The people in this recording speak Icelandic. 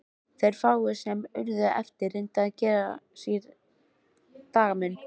Þeir fáu sem urðu eftir reyndu að gera sér dagamun.